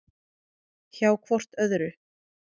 Hjá hvort öðru.